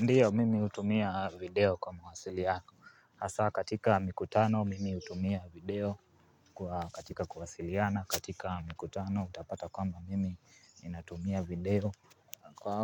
Ndiyo, mimi hutumia video kwa mawasiliano yangu. Hasa katika mikutano, mimi utumia video kwa katika kuwasiliana. Katika mikutano, utapata kwamba mimi ninatumia video.